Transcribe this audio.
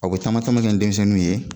A o be taama taama kɛ ni denmisɛnninw ye